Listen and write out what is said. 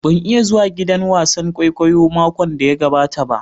Ban iya zuwa giɗan wasan ƙwaiƙwayo maƙon da ya gaɓata ba